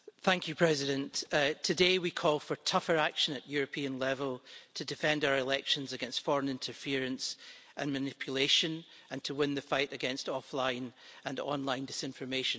Mr President, today we call for tougher action at European level to defend our elections against foreign interference and manipulation and to win the fight against offline and online disinformation.